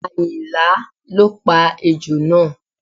Àyìnlá ló pa ejò náà